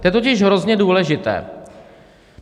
To je totiž hrozně důležité.